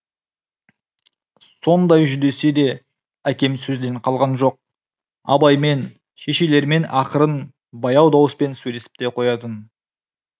сондай жүдесе де әкем сөзден қалған жоқ абаймен шешелерімен ақырын баяу дауыспен сөйлесіп те қоятын